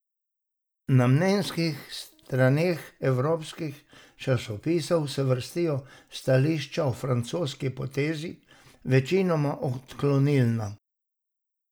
Na mnenjskih straneh evropskih časnikov se vrstijo stališča o francoski potezi, večinoma odklonilna.